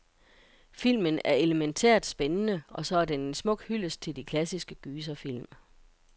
Filmen er elementært spændende, og så er den en smuk hyldest til de klassiske gyserfilm.